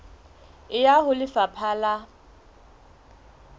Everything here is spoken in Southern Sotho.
e ya ho lefapha la